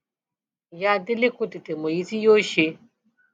ìyá délé kò tètè mọ èyí tí yóò ṣe